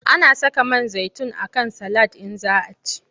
Ana saka man zaitin a kan salad in za a ci.